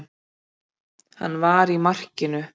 Hann var í markinu.